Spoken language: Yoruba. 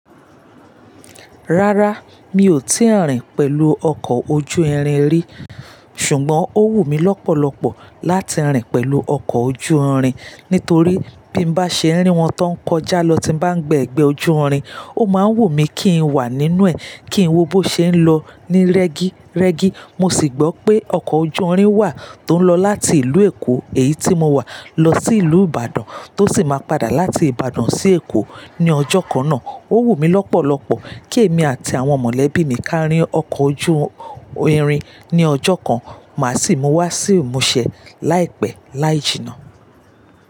Rárá, mi ò tíì rìn pẹ̀lú ọkọ̀ ojú irin rí. Ṣùgbọ́n ó wù mí lọ́pọ̀lọpọ̀ láti rìn pẹ̀lú ọkọ̀ ojú irin nítorí bí mo bá ṣe rí wọn tó ń kọjá lọ tí mo bá gbé ẹgbẹ́ ojú irin, ó máa ń wù mí kí n wà nínú ẹ̀, kí n wo bó ṣe ń lọ ní rẹ́gí, rẹ́gí. Mo sì gbọ́ pé ọkọ̀ ojú irin wà tó ń lọ láti ìlú Èkó, èyí tí mo wà, lọ sí ìlú Ìbàdàn, tó sì máa padà láti Ìbàdàn sí Èkó ní ọjọ́ kan náà. Ó wù mí lọ́pọ̀lọpọ̀ kí èmi àti àwọn mọ̀lẹ́bí mi ká rín ọkọ̀ ojú irin ní ọjọ́ kan má sì mú wa sí ìmúṣẹ láìpẹ́ láì jìnnà.